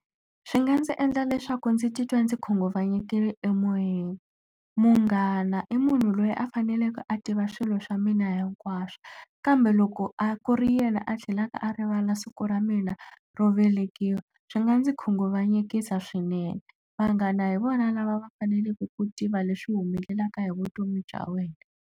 Swi nga ndzi endla leswaku ndzi titwa ndzi khunguvanyekile emoyeni. Munghana i munhu loyi a faneleke a tiva swilo swa mina hinkwaswo, kambe loko a ku ri yena a tlhelaka a rivala siku ra mina ro velekiwa, swi nga ndzi khunguvanyekisa swinene. Vanghana hi vona lava va faneleke ku tiva leswi humelelaka hi vutomi bya wena.